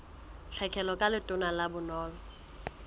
tlhekelo ka letona la bonono